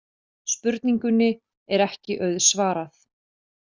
Spurningunni er ekki auðsvarað.